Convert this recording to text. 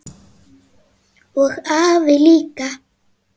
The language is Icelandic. Og afi líka!